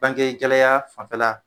Banke gɛlɛya fanfɛla